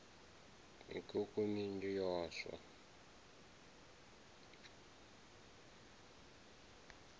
mikhukhu minzhi yo no swa